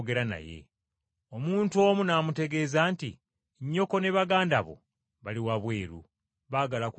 Omuntu omu n’amutegeeza nti, “Nnyoko ne baganda bo, bali wabweru baagala kwogera nawe.”